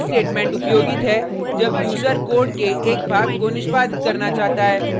यह स्टेटमेंट उपयोगित है जब यूजर कोड के एक भाग को निष्पादित करना चाहता है